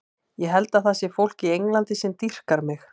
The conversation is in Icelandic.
Ég held að það sé fólk í Englandi sem dýrkar mig.